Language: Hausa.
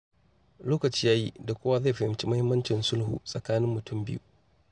Lokaci ya yi da kowa zai fahimci muhimmancin sulhu tsakanin mutum biyu.